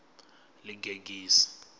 ḽigegise